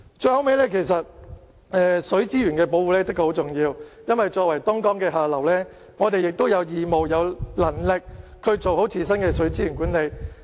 最後，其實水資源的保護是很重要的，作為東江的下流，我們有義務，也有能力做好自身的水資源管理。